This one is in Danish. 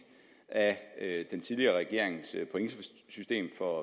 af den tidligere regerings pointsystem for